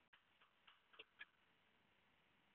Nei, væni minn.